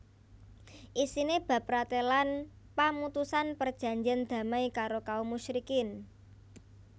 Isiné bab pratélan pamutusan perjanjèn damai karo kaum musyrikin